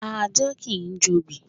Ajá kìí jobì.